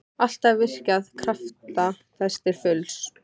Alltaf virkjað krafta þess til fulls.